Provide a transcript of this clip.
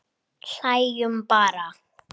Hlæjum bara.